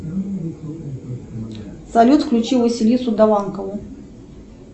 салют включи василису даванкову